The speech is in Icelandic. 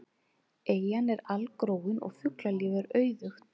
Eyjan er algróin og fuglalíf er auðugt.